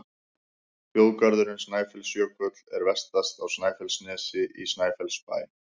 Þjóðgarðurinn Snæfellsjökull er vestast á Snæfellsnesi, í Snæfellsbæ.